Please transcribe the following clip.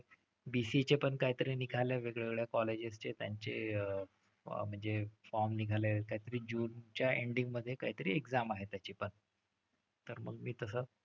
BCA चे पण कायतरी निघालंय वेगळ्या वेगळ्या colleges चे, त्यांचे म्हणजे form निघालेत कायतरी जूनच्या ending मधे कायतरी exam आहे त्याची पण. तर मग मी तसं,